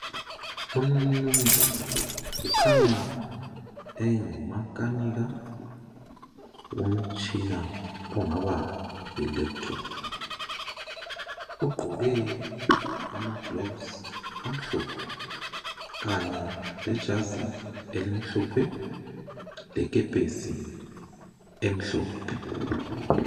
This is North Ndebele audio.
Umnunzana lo ukhanya engumakanika womtshina ongaba yilaptop. Ugqoke ama gloves amhlophe, kanye lejazi elimhlophe lekepesi emhlophe.